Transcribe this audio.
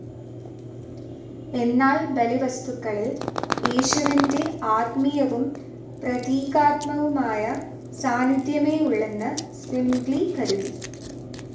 എന്നാൽ ബലിവസ്തുക്കളിൽ യേശുവിന്റെ ആത്മീയവും പ്രതീകാത്മകവുമായ സാന്നിദ്ധ്യമേയുള്ളെന്ന് സ്വിംഗ്ലി കരുതി.